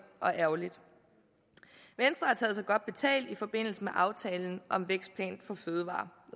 og ærgerligt venstre har taget sig godt betalt i forbindelse med aftalen om vækstplanen for fødevarer